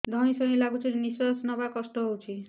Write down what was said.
ଧଇଁ ସଇଁ ଲାଗୁଛି ନିଃଶ୍ୱାସ ନବା କଷ୍ଟ ହଉଚି